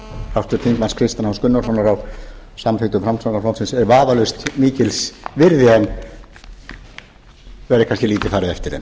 háttvirtur þingmaður kristins h gunnarssonar á samþykktum framsóknarflokksins er vafalaust mikils virði en verður kannski lítið farið eftir þeim